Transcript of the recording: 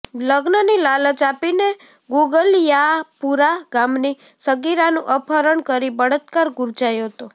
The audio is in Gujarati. લગ્નની લાલચ આપીને ગુગલીયાપુરા ગામની સગીરાનું અપહરણ કરી બળાત્કાર ગુજાર્યો હતો